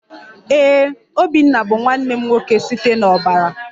Ee, obinna bụ nwanne m nwoke site n'ọbara